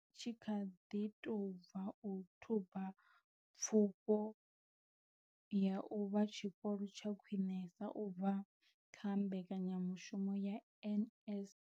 Tshi kha ḓi tou bva u thuba Pfufho ya u vha Tshikolo tsha Khwinesa u bva kha mbekanyamushumo ya NSNP.